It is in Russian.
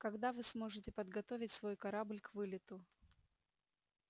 когда вы сможете подготовить свой корабль к вылету